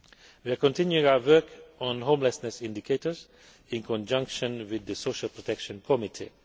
We are continuing our work on homelessness indicators in conjunction with the Social Protection Committee.